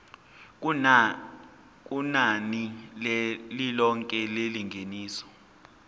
kunani lilonke lengeniso